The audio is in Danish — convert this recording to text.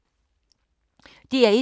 DR1